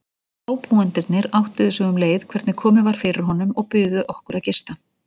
Ábúendurnir áttuðu sig um leið hvernig komið var fyrir honum og buðu okkur að gista.